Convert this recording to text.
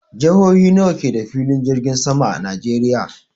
Jihohi nawa ke da filin jirgin sama a Najeriya?